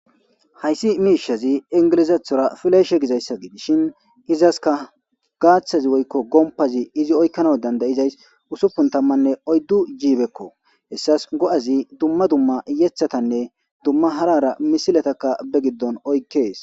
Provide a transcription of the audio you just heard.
Hayssi miishazi ingilizathora fileeshe gizayssa gidishin izaska gaaththazi woykko gompazi izi oykkana dandayizays usupun tammanne oyddu jiibekko hessas go'azi dumma dumma yethatanne dumma harara misilatakka be giddon oykkees